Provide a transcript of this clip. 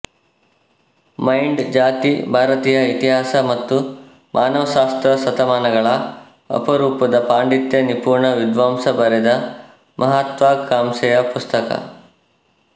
mind ಜಾತಿ ಭಾರತೀಯ ಇತಿಹಾಸ ಮತ್ತು ಮಾನವಶಾಸ್ತ್ರ ಶತಮಾನಗಳ ಅಪರೂಪದ ಪಾಂಡಿತ್ಯ ನಿಪುಣ ವಿದ್ವಾಂಸ ಬರೆದ ಮಹತ್ವಾಕಾಂಕ್ಷೆಯ ಪುಸ್ತಕ